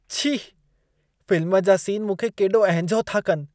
छी! फिल्म जा सीन मूंखे केॾो अहिंजो था कनि।